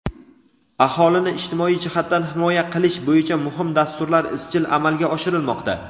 Aholini ijtimoiy jihatdan himoya qilish bo‘yicha muhim dasturlar izchil amalga oshirilmoqda.